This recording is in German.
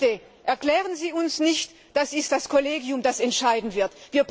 Und bitte, erklären Sie uns nicht, es sei das Kollegium, das entscheiden wird.